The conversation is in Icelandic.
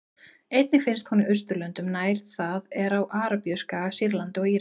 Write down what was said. Einnig finnst hún í Austurlöndum nær, það er á Arabíuskaga, Sýrlandi og Írak.